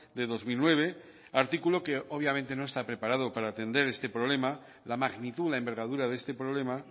de dos mil nueve artículo que obviamente no está preparado para atender este problema la magnitud la envergadura de este problema